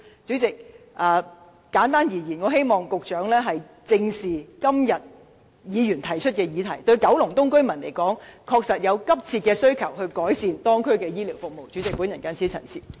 主席，簡單而言，我希望局長正視今天議員提出的議題，九龍東居民確實對改善當區的醫療服務有急切的需求。